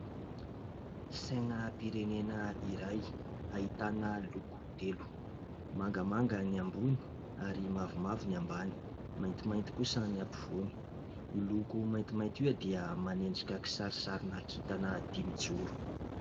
Sainam-pirenena iray ahitana loko telo : mangamanga ny ambony ary mavomavo ny ambany, maintimainty kosa ny ampovoany. Io loko maintimainty io dia manendrika kisarisarina kintana dimijoro.